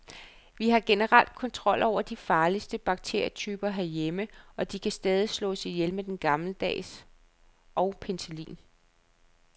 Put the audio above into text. Vi har generelt kontrol over de farligste bakterietyper herhjemme, og de kan stadig slås ihjel med den gammeldags og penicillin.